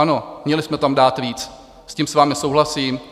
Ano, měli jsme tam dát víc, s tím s vámi souhlasím.